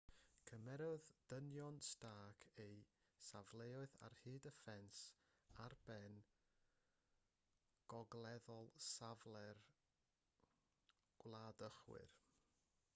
cymerodd dynion stark eu safleoedd ar hyd y ffens ar ben gogleddol safle'r gwladychwr